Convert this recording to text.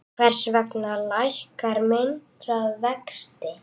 Hvers vegna lækkar myntráð vexti?